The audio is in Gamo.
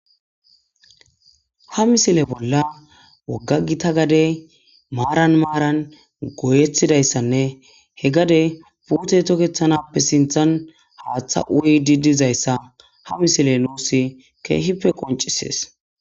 Ha misile bolla wogga gita gadey maaran maaran goyetidaysanne he gadey puutey toketanappe sinththan haatha uyiidi dizayssa ha misiley nuusi keehippe qoncises.